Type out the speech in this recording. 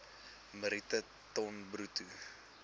metrieke ton bruto